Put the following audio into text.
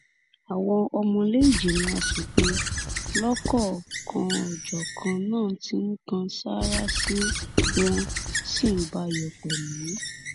àwọn ọmọ ìlèéjìmọ asòfin lọ́kọ̀ọ̀kan-ọ̀-jọ̀kan náà ti ń kan sáárá sí i wọn sì ń bá a yọ̀ pẹ̀lú